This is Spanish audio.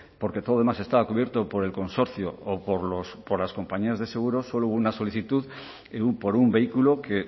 porque todo lo demás estaba cubierto por el consorcio o por las compañías de seguros solo hubo una solicitud por un vehículo que